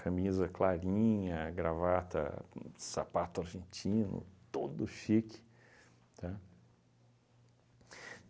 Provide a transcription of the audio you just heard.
Camisa clarinha, gravata, sapato argentino, todo chique, tá?